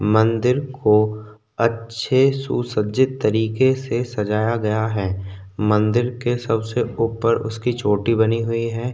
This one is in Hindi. मंदिर को अच्छे सुसज्जित तरीके से सजाया गया है मंदिर के सबसे ऊपर उसकी चोटी बनी हुई है।